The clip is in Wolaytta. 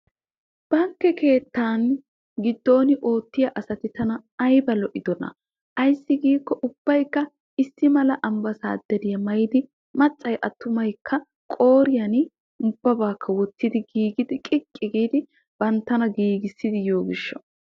Bankke keettaan giddon oottiyaa asati tana ayba lo"idonaa. Ayssi giikko ubbaykka issi mala ambbasaaderiyaa maayidi maccay attumaykka qooriya ubbabakka wottidi giigidi qiqqi giidi banttana giigissidi yiyo gishshaw.